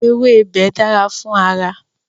Ewébẹ̀ dára fún ara.